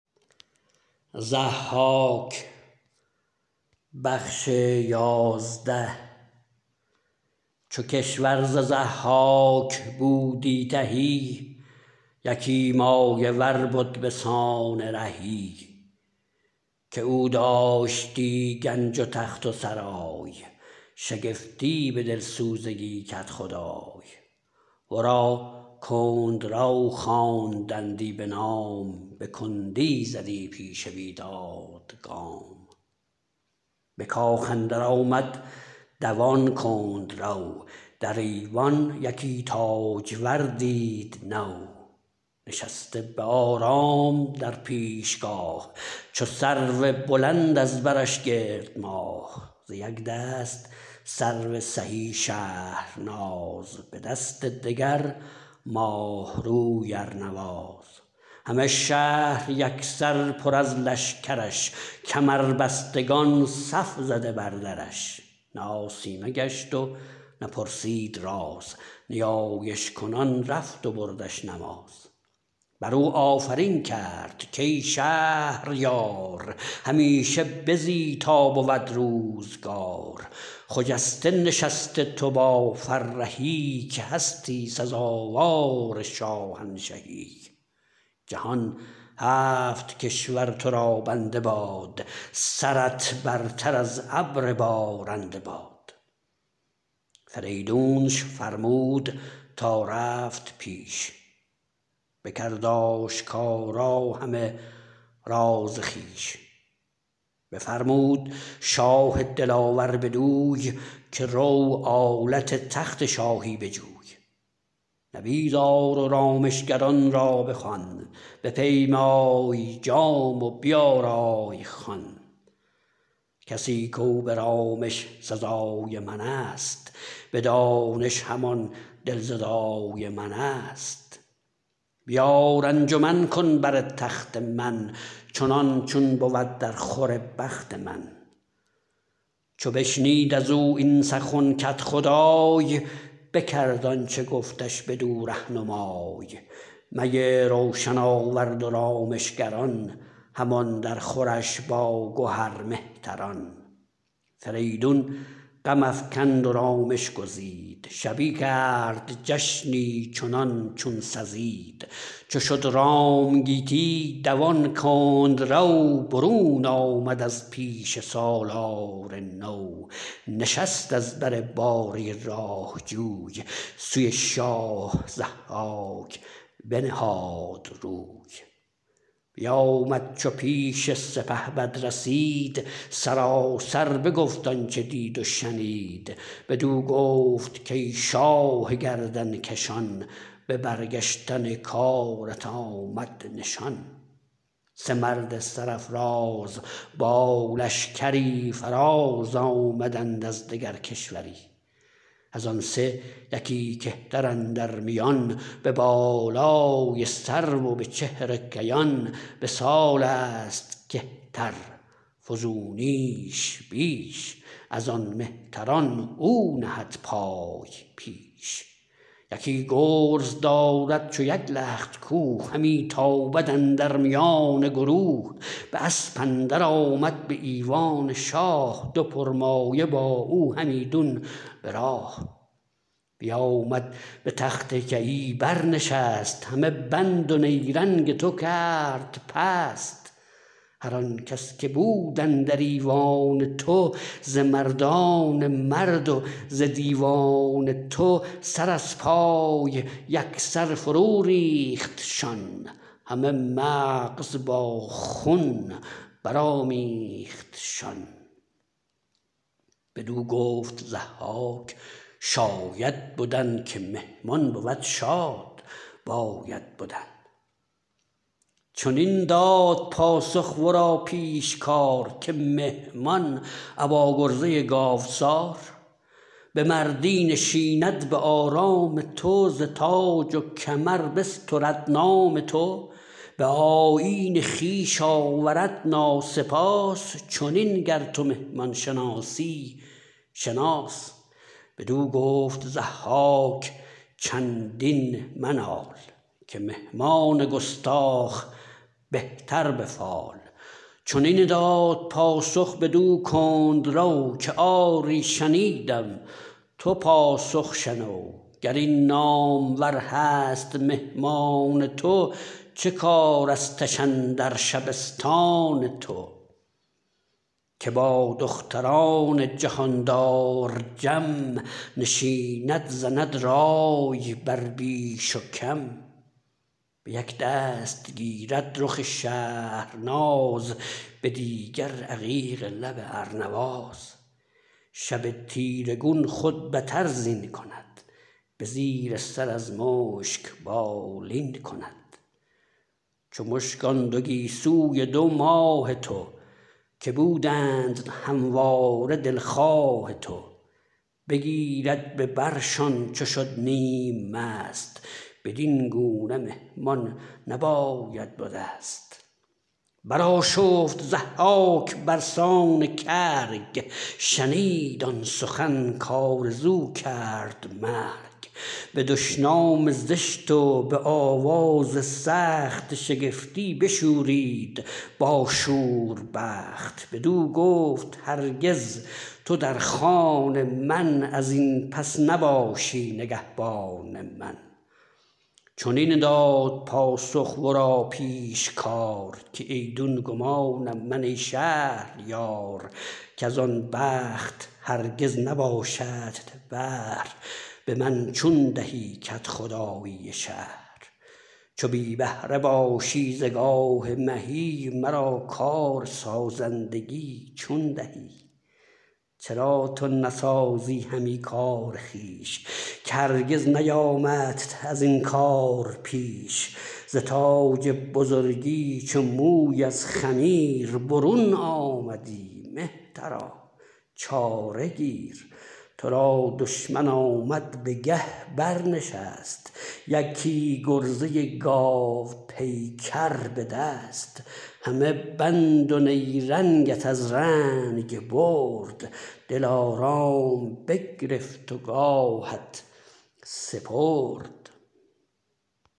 چو کشور ز ضحاک بودی تهی یکی مایه ور بد به سان رهی که او داشتی گنج و تخت و سرای شگفتی به دلسوزگی کدخدای ورا کندرو خواندندی بنام به کندی زدی پیش بیداد گام به کاخ اندر آمد دوان کندرو در ایوان یکی تاجور دید نو نشسته به آرام در پیشگاه چو سرو بلند از برش گرد ماه ز یک دست سرو سهی شهرناز به دست دگر ماه روی ارنواز همه شهر یک سر پر از لشکرش کمربستگان صف زده بر درش نه آسیمه گشت و نه پرسید راز نیایش کنان رفت و بردش نماز بر او آفرین کرد کای شهریار همیشه بزی تا بود روزگار خجسته نشست تو با فرهی که هستی سزاوار شاهنشهی جهان هفت کشور تو را بنده باد سرت برتر از ابر بارنده باد فریدونش فرمود تا رفت پیش بکرد آشکارا همه راز خویش بفرمود شاه دلاور بدوی که رو آلت تخت شاهی بجوی نبیذ آر و رامشگران را بخوان بپیمای جام و بیارای خوان کسی کاو به رامش سزای من است به دانش همان دلزدای من است بیار انجمن کن بر تخت من چنان چون بود در خور بخت من چو بشنید از او این سخن کدخدای بکرد آنچه گفتش بدو رهنمای می روشن آورد و رامشگران همان در خورش با گهر مهتران فریدون غم افکند و رامش گزید شبی کرد جشنی چنان چون سزید چو شد رام گیتی دوان کندرو برون آمد از پیش سالار نو نشست از بر باره راه جوی سوی شاه ضحاک بنهاد روی بیآمد چو پیش سپهبد رسید سراسر بگفت آنچه دید و شنید بدو گفت کای شاه گردنکشان به برگشتن کارت آمد نشان سه مرد سرافراز با لشکری فراز آمدند از دگر کشوری از آن سه یکی کهتر اندر میان به بالای سرو و به چهر کیان به سال است کهتر فزونیش بیش از آن مهتران او نهد پای پیش یکی گرز دارد چو یک لخت کوه همی تابد اندر میان گروه به اسپ اندر آمد به ایوان شاه دو پرمایه با او همیدون براه بیآمد به تخت کیی بر نشست همه بند و نیرنگ تو کرد پست هر آن کس که بود اندر ایوان تو ز مردان مرد و ز دیوان تو سر از پای یک سر فرو ریختشان همه مغز با خون برآمیختشان بدو گفت ضحاک شاید بدن که مهمان بود شاد باید بدن چنین داد پاسخ ورا پیشکار که مهمان ابا گرزه گاوسار به مردی نشیند به آرام تو ز تاج و کمر بسترد نام تو به آیین خویش آورد ناسپاس چنین گر تو مهمان شناسی شناس بدو گفت ضحاک چندین منال که مهمان گستاخ بهتر به فال چنین داد پاسخ بدو کندرو که آری شنیدم تو پاسخ شنو گر این نامور هست مهمان تو چه کارستش اندر شبستان تو که با دختران جهاندار جم نشیند زند رای بر بیش و کم به یک دست گیرد رخ شهرناز به دیگر عقیق لب ارنواز شب تیره گون خود بتر زین کند به زیر سر از مشک بالین کند چو مشک آن دو گیسوی دو ماه تو که بودند همواره دلخواه تو بگیرد به برشان چو شد نیم مست بدین گونه مهمان نباید به دست برآشفت ضحاک برسان کرگ شنید آن سخن کآرزو کرد مرگ به دشنام زشت و به آواز سخت شگفتی بشورید با شور بخت بدو گفت هرگز تو در خان من از این پس نباشی نگهبان من چنین داد پاسخ ورا پیشکار که ایدون گمانم من ای شهریار کز آن بخت هرگز نباشدت بهر به من چون دهی کدخدایی شهر چو بی بهره باشی ز گاه مهی مرا کارسازندگی چون دهی چرا تو نسازی همی کار خویش که هرگز نیامدت از این کار پیش ز تاج بزرگی چو موی از خمیر برون آمدی مهترا چاره گیر تو را دشمن آمد به گه برنشست یکی گرزه گاوپیکر به دست همه بند و نیرنگت از رنگ برد دلارام بگرفت و گاهت سپرد